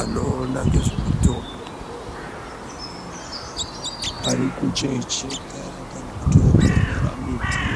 Anoona ngezve mutombo ari kucheka kana kuongorora miti